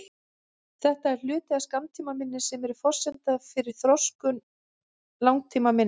Þetta er hluti af skammtímaminni sem er forsenda fyrir þroskun langtímaminnis.